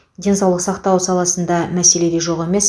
денсаулық сақтау саласында мәселе де жоқ емес